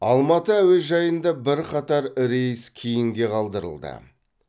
алматы әуежайында бірқатар рейс кейінге қалдырылды